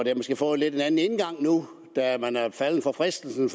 nu da man er faldet for fristelsen